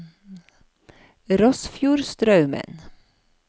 Rossfjordstraumen